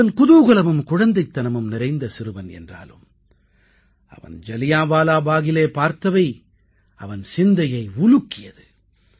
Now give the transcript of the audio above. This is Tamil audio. அவன் குதூகலமும் குழந்தைத்தனமும் நிறைந்த சிறுவன் என்றாலும் அவன் ஜலியான்வாலாபாகில் பார்த்தவை அவன் சிந்தையை உலுக்கியது